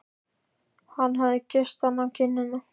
Hann hafði kysst hana á kinnina.